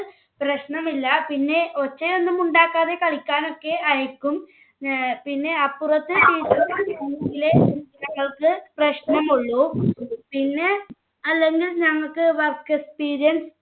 പ്രശ്നമില്ല. പിന്നെ ഒച്ചയൊന്നും ഉണ്ടാക്കാതെ കളിക്കാനൊക്കെ അയക്കും. പിന്നെ അപ്പുറത്തെ teacher ഞങ്ങൾക്ക് പ്രശ്നമുള്ളൂ. പിന്നെ അല്ലെങ്കിൽ ഞങ്ങൾക്ക് work experience